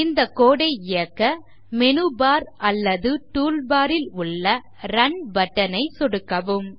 இந்த code ஐ இயக்க மேனு பார் அல்லது டூல் பார் ல் உள்ள ரன் பட்டன் ஐ சொடுக்கவும்